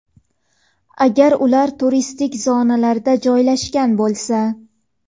agar ular turistik zonalarda joylashgan bo‘lsa.